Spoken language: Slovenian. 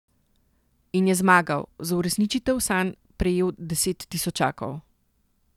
In je zmagal, za uresničitev sanj prejel deset tisočakov.